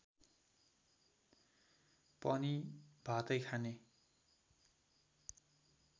पनि भातै खाने